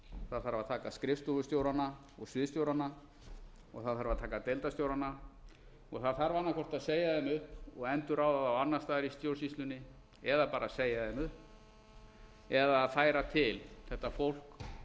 það þarf að taka skrifstofustjórana og sviðsstjórana og það þarf að taka deildarstjórana og það þarf annaðhvort að segja þeim upp og endurráða þá annars staðar í stjórnsýslunni eða bara segja þeim upp eða færa til þetta fólk